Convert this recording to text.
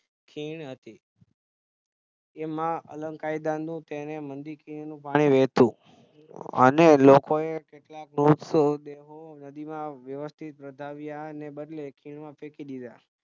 ખીણ હતી તેમાં પાણી વહેતુ અને લોકોએ કેટલાક મૃતદેહો નદીમાં વ્યવસ્થિત વળાવ્યાને બદલે ખીણ માં ફેંકી દીધા